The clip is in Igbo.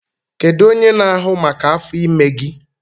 Kedu onye na-ahụ maka afọ ime gị?